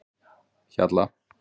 Hjalla